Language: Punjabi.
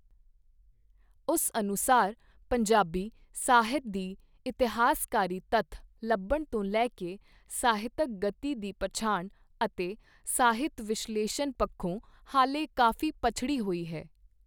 ਉਸ ਅਨੁਸਾਰ ਪੰਜਾਬੀ ਸਾਹਿਤ ਦੀ ਇਤਹਾਸਕਾਰੀ ਤਥ ਲਭਤ ਤੋਂ ਲੈ ਕੇ ਸਾਹਿਤਕ ਗਤੀ ਦੀ ਪਛਾਣ ਅਤੇ ਸਾਹਿਤ ਵਿਸ਼ਲੇਸ਼ਣ ਪਖੋਂ ਹਾਲੇ ਕਾਫੀ ਪਛੜੀ ਹੋਈ ਹੈ।